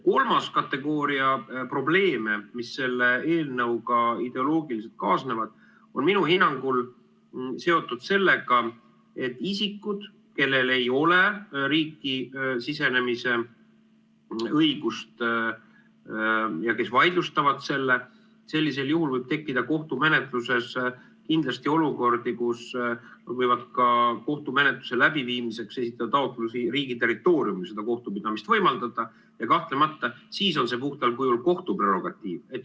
Kolmas kategooria probleeme, mis selle eelnõuga ideoloogiliselt kaasnevad, on minu hinnangul seotud sellega, et isikud, kellel ei ole riiki sisenemise õigust ja kes vaidlustavad selle, siis sellisel juhul võib tekkida kohtumenetluses kindlasti olukordi, kus võivad ka kohtumenetluse läbiviimiseks esitada taotlusi riigi territooriumil selle kohtupidamise võimaldamiseks ja siis on see kahtlemata puhtal kujul kohtu prerogatiiv.